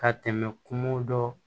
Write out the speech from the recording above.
Ka tɛmɛ kungo dɔ